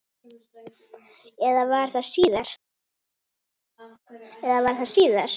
Eða var það síðar?